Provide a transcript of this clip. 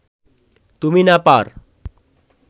তুমি না পার